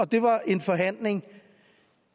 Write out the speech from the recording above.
det var en forhandling